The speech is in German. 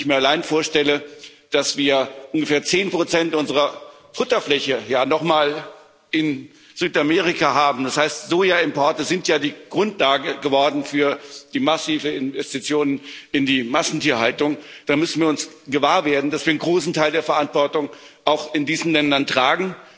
Wenn ich mir allein vorstelle, dass wir ungefähr 10 unserer Futterfläche ja nochmal in Südamerika haben das heißt, Sojaimporte sind ja die Grundlage geworden für die massiven Investitionen in die Massentierhaltung, da müssen wir uns gewahr werden, dass wir einen großen Teil der Verantwortung auch in diesen Ländern tragen.